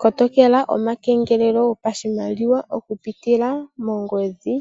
Kotokela omakengelelo gopashimaliwa oku pitila mongodhi,